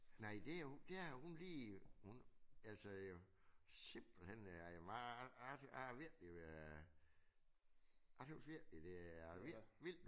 Nej det jo det har hun lige hun altså øh simpelthen jeg er virkelig øh jeg synes virkelig det er vildt vildt